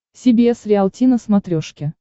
си би эс риалти на смотрешке